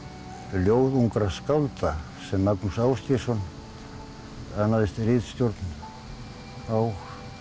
ljóð ungra skálda sem Magnús Ásgeirsson annaðist ritstjórn á